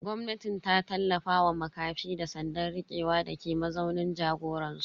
Gwamnatin ta tallafa wa makafi da tsandan rikewa dake mazaunin jagoransu.